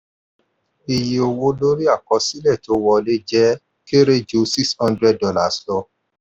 iye owó lórí àkọsílẹ̀ tó wọlé jẹ kéré ju $600 lọ.